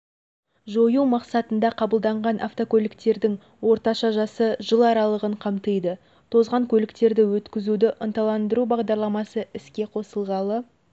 жою мақсатында қабылданған автокөліктердің орташа жасы жыл аралығын қамтиды тозған көліктерді өткізуді ынталандыру бағдарламасы іске қосылғалы